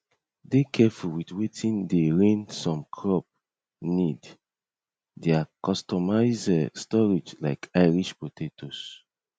dey careful with watin dey reign some crop need their customize storage like irish potatoes